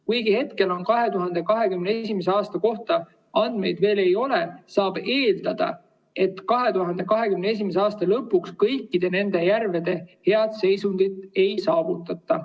Kuigi hetkel 2021. aasta kohta andmeid veel ei ole, saab eeldada, et 2021. aasta lõpuks kõikide nende järvede head seisundit ei saavutata.